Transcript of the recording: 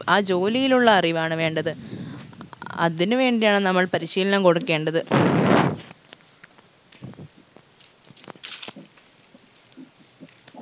ആ ജോലിയിലുള്ള അറിവാണ് വേണ്ടത് അതിന് വേണ്ടിയാണ് നമ്മൾ പരിശീലനം കൊടുക്കേണ്ടത്